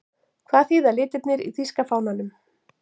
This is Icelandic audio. Hvað þýða litirnir í þýska fánanum?